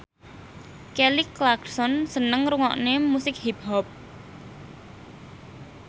Kelly Clarkson seneng ngrungokne musik hip hop